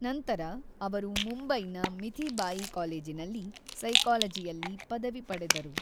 ನಂತರ ಅವರು ಮುಂಬೈನ ಮಿಥಿಬಾಯಿ ಕಾಲೇಜಿನಲ್ಲಿ ಸೈಕಾಲಜಿಯಲ್ಲಿ ಪದವಿ ಪಡೆದರು.